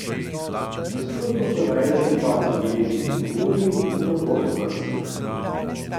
Nasprotno so največji upad zabeležili v Romuniji in na Portugalskem.